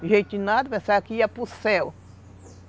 em nada, pensaram que iam para o